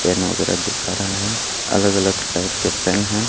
Pen वगैरा दिखा रहा है अलग अलग टाइप के पेन है।